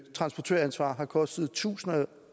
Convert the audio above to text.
transportøransvar har kostet tusinder